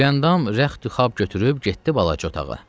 Güləndam rəx-düxab götürüb getdi balaca otağa.